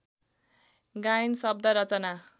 गायन शव्द रचना